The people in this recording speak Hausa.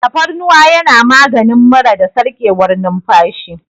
Tafarnuwa yana maganin mura da sarƙewar numfashi.